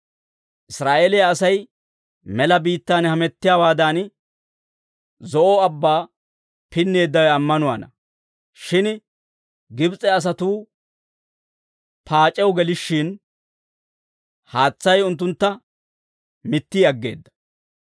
Israa'eeliyaa Asay mela biittan hamettiyaawaadan, Zo'o Abbaa pinneeddawe ammanuwaana; shin Gibs'e asatuu paac'ew gelishshin, haatsay unttuntta mitti aggeedda.